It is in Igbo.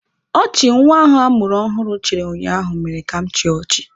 Ọchị nwa ahụ a mụrụ ọhụrụ chịrị ụnyaahụ mere ka m chịa ọchị.